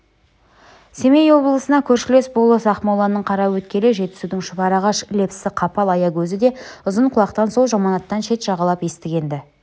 семей облысына көршілес болыс ақмоланың қараөткелі жетісудың шұбарағаш лепсі-қапал аягөзі де ұзынқұлақтан сол жаманаттан шет жағалап естіген-ді